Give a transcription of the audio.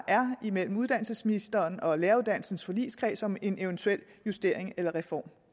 er imellem uddannelsesministeren og læreruddannelsens forligskreds om en eventuel justering eller reform